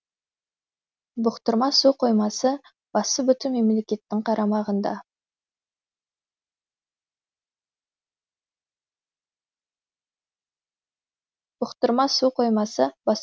бұқтырма су қоймасы басы бүтін мемлекеттің қарамағында